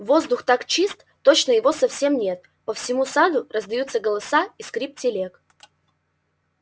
воздух так чист точно его совсем нет по всему саду раздаются голоса и скрип телег